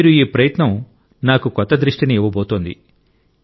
మీ ఈ ప్రయత్నం నాకు కొత్త దృష్టిని ఇవ్వబోతోంది